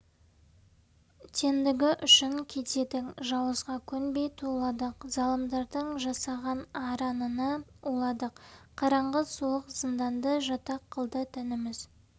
тендігі үшін кедейдің жауызға көнбей туладық залымдардың жасаған аранына уладық қараңғы суық зынданды жатақ қылды тәніміз